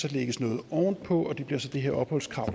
lægges noget ovenpå og det bliver så det her opholdskrav